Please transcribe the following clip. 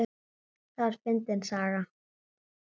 Það var fyndin saga.